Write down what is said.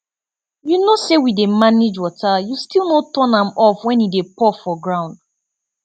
you know say we dey manage water you still no turn am off wen e dey pour for ground